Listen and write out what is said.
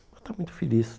Ela está muito feliz.